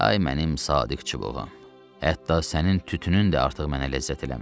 Ay mənim sadiq çubuğum, hətta sənin tütünün də artıq mənə ləzzət eləmir.